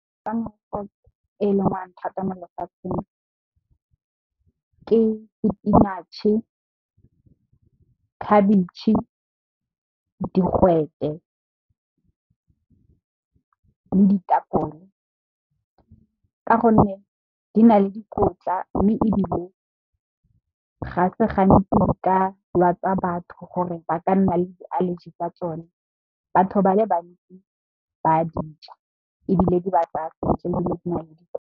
E e lengwang thata mo lefatsheng ke sepinatšhe, khabetšhe digwete, le ditapole ka gonne, di na le dikotla mme ebile ga se gantsi di ka lwatsa batho gore ba ka nna le allergy tsa tsone batho ba le bantsi ba dija ebile di ba tsaya sentle .